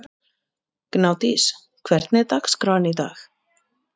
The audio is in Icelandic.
Gnádís, hvernig er dagskráin í dag?